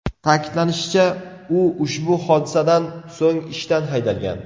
Ta’kidlanishicha, u ushbu hodisadan so‘ng ishdan haydalgan.